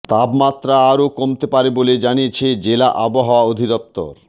তাপমাত্রা আরও কমতে পারে বলে জানিয়েছে জেলা আবহাওয়া অধিদপ্তর